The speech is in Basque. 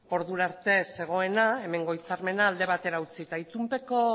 ordurarte zegoena hemengo hitzarmena alde batera utzi eta itunpeko